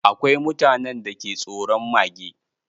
Akwai mutanen da ke tsoron mage